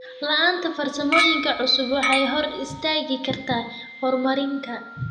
La'aanta farsamooyinka cusub waxay hor istaagi kartaa horumarka.